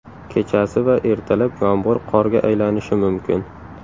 Kechasi va ertalab yomg‘ir qorga aylanishi mumkin.